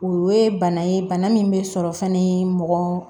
O ye bana ye bana min bɛ sɔrɔ fɛnɛ mugan